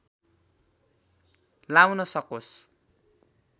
लाउन सकोस्